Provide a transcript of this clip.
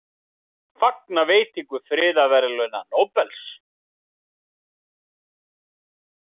Fagna veitingu friðarverðlauna Nóbels